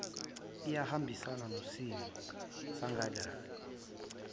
iyahambisana nosimo sangaleso